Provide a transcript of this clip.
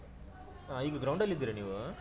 ಹಾ, ಈಗ ground ಅಲ್ಲಿದ್ದೀರಾ ನೀವು?